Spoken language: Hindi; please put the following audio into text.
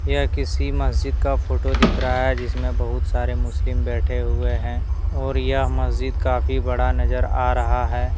यह किसी मस्जिद का फोटो दिख रहा है जिसमें बहुत सारे मुस्लिम बैठे हुए हैं और यह मस्जिद काफी बड़ा नजर आ रहा है।